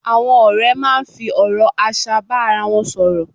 Àwọn ọ̀rẹ́ máa ń fi ọ̀rọ̀ aṣa bá ara wọn sọ̀rọ̀